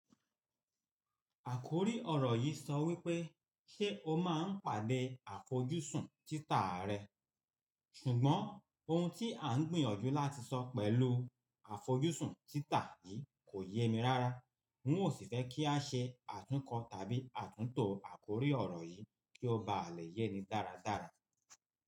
Àkòrí ọ̀rọ̀ yìí sọ wípé, "ṣé o máa ń pàdé àfojúsùn títa rẹ?" ṣùgbọ́n ohun tí a ń gbìyànjú láti sọ pẹ̀lú àfojúsùn títa yìí kò yé mi rárá. N ó sì fẹ́ kí a ṣe àtúnkọ tàbí àtúntò àkòrí ọ̀rọ̀ yìí kí ó ba à lè yé ni dáradára.